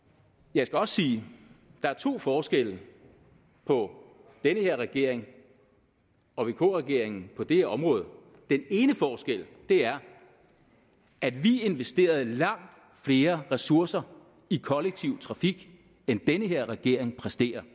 jeg skal også sige at der er to forskelle på den her regering og vk regeringen på det her område den ene forskel er at vi investerede langt flere ressourcer i kollektiv trafik end den her regering præsterer